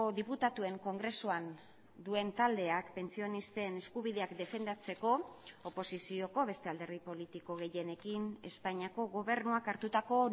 diputatuen kongresuan duen taldeak pentsionisten eskubideak defendatzeko oposizioko beste alderdi politiko gehienekin espainiako gobernuak hartutako